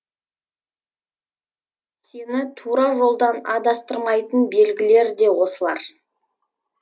сені тура жолдан адастырмайтын белгілер де осылар